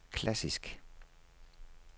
klassisk